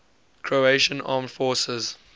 croatian armed forces